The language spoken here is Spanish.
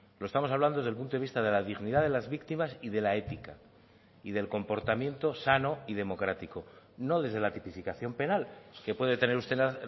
lo estamos hablando desde el punto de vista de la dignidad de las víctimas y de la ética y del comportamiento sano y democrático no desde la tipificación penal que puede tener usted la